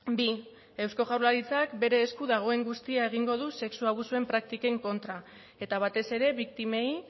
bi eusko jaurlaritzak bere esku dagoen guztia egingo du sexu abusuen praktiken kontra eta batez ere biktimei